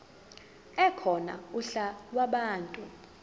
ekhona uhla lwabantu